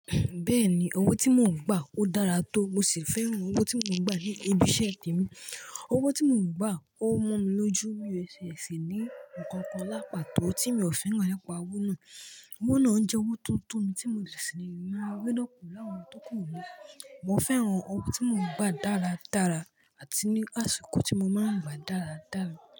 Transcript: Bẹ́ẹ̀ni, owó tí mò ń gbà ó dára tó, mo sì fẹ́ràn owó tí mò ń gbà ní ibi iṣẹ́ mi. Owó tí mò ń gbà ó mọ́ mi lójú mí ó ṣe sì ní nǹkan kan lá pàtò tí mi ò fi hàn nípa owó náà. Owó náà ń jẹ́ owó tuntun mi tí mo lè sì máa rí lọ́pọ̀ láwọn ọdún tó kù ní. Mo fẹ́ràn owó tí mò ń gbà dára dára àti ní àsìkò tí mo máa ń gbà dára dára.